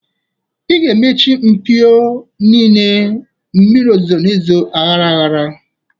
Ị ga-emechi mpio niile. Mmiri ozuzo n'ezo ahara ahara.